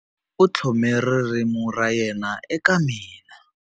U tlhome ririmi ra yena eka mina.